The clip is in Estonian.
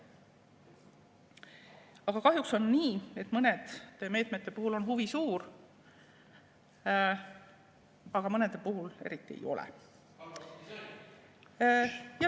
Aga kahjuks on nii, et mõnede meetmete puhul on huvi suur, aga mõnede puhul eriti ei ole.